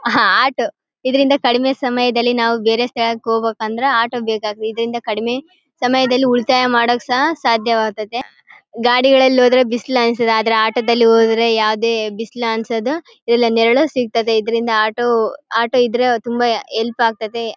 ಹಾ ಆಟೋ ಇದ್ರಿಂದ ಕಡಿಮೆ ಸಮಯದಲ್ಲಿ ನಾವು ಬೇರೆ ಸ್ಥಳಕ್ಕೆ ಹೋಗ್ಬೇಕು ಅಂದ್ರೆ ಆಟೋ ಬೇಕಾಗ್ತಾವೆ ಇದ್ರಿಂದ ಕಡಿಮೆ ಸಮಯದಲ್ಲಿ ಉಳಿತಾಯ ಮಾಡೋಕು ಸಹ ಸಾಧ್ಯವಾಗ್ತಾವೆ ಗಾಡಿಗಳಲ್ಲಿ ಹೋದ್ರೆ ಬಿಸಿಲು ಅನ್ಸುತ್ತೆ ಆದ್ರೆ ಆಟೋದಲ್ಲಿ ಹೋದ್ರೆ ಯಾವದೇ ಬಿಸಲು ಅನ್ಸದು ಇಲ್ಲ ನೆರಳು ಸಿಗ್ತಾದೆ ಇದ್ರಿಂದ ಆಟೋ ಆಟೋ ಇದ್ರೆ ತುಂಬಾ ಹೆಲ್ಪ್ ಅತೈತೆ .